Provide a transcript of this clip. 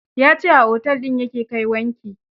Ya ce a otel din ya ke kai wanki.